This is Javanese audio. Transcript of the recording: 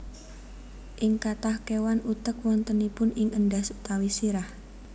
Ing kathah kéwan utek wontenipun ing endhas utawi sirah